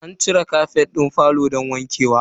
An cire kafet din falo don wanke wa.